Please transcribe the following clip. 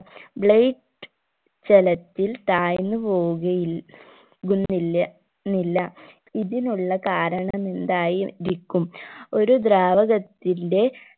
light ജലത്തിൽ താഴ്ന്നു പോവുകയിൽ കുന്നില്ല ന്നില്ല ഇതിനുള്ള കരണമെന്തായി രിക്കും ഒരു ദ്രാവകത്തിന്റെ